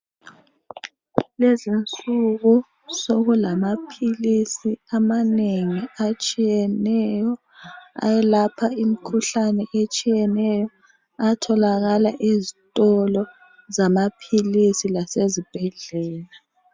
Kulezi insuku sokulama philisi amanengi atshiyeneyo ayelapha imikhuhlane etshiyeneyo atholakala ezitolo zamaphilisi lasezibhedlela.